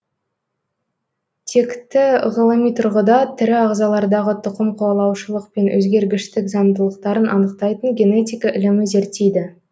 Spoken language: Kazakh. текті ғылыми тұрғыда тірі ағзалардағы тұқымқуалаушылық пен өзгергіштік заңдылықтарын анықтайтын генетика ілімі зерттейді